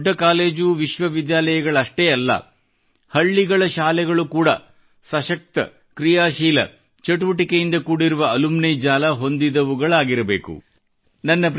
ಕೇವಲ ದೊಡ್ಡ ಕಾಲೇಜು ವಿಶ್ವವಿದ್ಯಾಲಯಗಳಷ್ಟೇ ಅಲ್ಲ ಹಳ್ಳಿಗಳ ಶಾಲೆಗಳು ಕೂಡ ಸಶಕ್ತ ಕ್ರೀಯಾಶೀಲ ಚಟುವಟಿಕೆಗಳಿಂದ ಕೂಡಿದ ಅಮೂಲ್ಯ ಜಾಲ ಹೊಂದಿದವುಗಳಾಗಿರಬೇಕು